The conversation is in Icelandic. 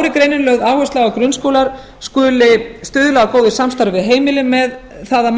er greinilega lögð áhersla á að grunnskólar skuli stuðla að góðu samstarfi við heimilin með það að